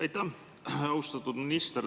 Aitäh, austatud minister!